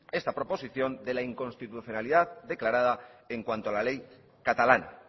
esta proposición de la inconstitucionalidad declarada en cuanto a la ley catalana